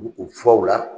U u fɔ u la